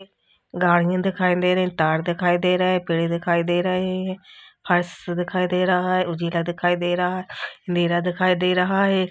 गाड़ियां दिखाई दे रही हैं। तार दिखाई दे रहे हैं। पेड़ दिखाई दे रहे हैं। फर्श दिखाई दे रहा हैं। उजेला दिखाई दे रहा हैं। अंधेरा दिखाई दे रहा है।